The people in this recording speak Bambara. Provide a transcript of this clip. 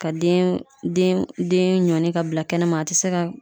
Ka den den ɲɔni ka bila kɛnɛ ma a te se ka